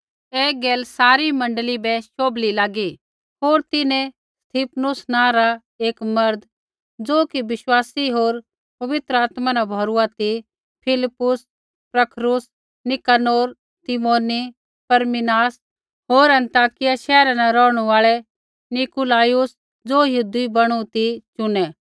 ऐ गैल सारी मण्डली बै शोभली लागी होर तिन्हैं स्तिफनुस नाँ रा एक मर्द ज़ो कि विश्वास होर पवित्र आत्मा न भौरुआ ती फिलिप्पुस प्रखुरूस नीकानोर तीमोन परमिनास होर अन्ताकिया शैहरा न रौहणु आल़ा नीकुलाउस ज़ो यहूदी बैणू ती चुनै